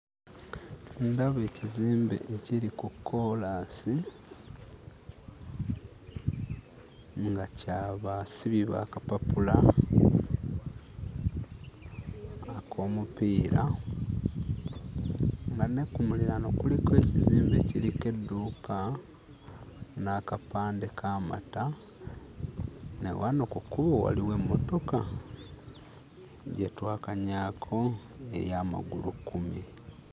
Ndaba ekizimbe ekiri ku koolaasi nga kya basibi ba kapapula ak'omupiira, nga ne ku muliraano kuliko ekizimbe ekiriko edduuka n'akapande k'amata, ne wano ku kkubo waliwo emmotoka gye twalakanyaako, eya magulukkumi.